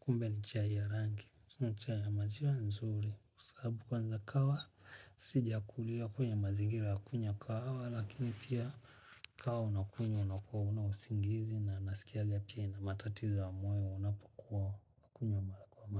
kumbe ni chai ya rangi. Na chai ya maziwa ya nzuri. Kusabu kwanza kawa, sija kulia kwenye mazingira ya kunya kwa awa. Lakini pia kahawa unakunye, unakuwa unawusingizi. Na nasikia yepia inamatatizo wa moyo, unapakuwa kunywa mara kwa maa.